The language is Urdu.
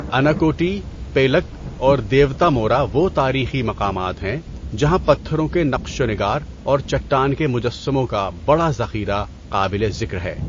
اناکوٹی، پیلک اور دیوتامورا وہ تاریخی مقامات ہیں جہاں پتھروں کے نقش و نگار اور چٹان کے مجسموں کا بڑا ذخیرہ قابل ذکر ہے۔